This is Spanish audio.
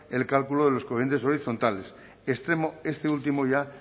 el cálculo de los coeficientes horizontales extremo este último ya